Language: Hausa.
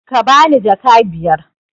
Ka bani jaka biyar!